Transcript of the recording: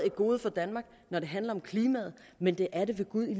et gode for danmark når det handler om klimaet men det er det ved gud i